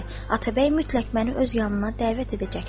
Atabəy mütləq məni öz yanına dəvət edəcəkdir.